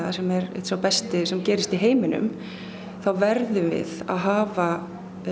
sem er einn sá besti sem gerist í heiminum þá verðum við að hafa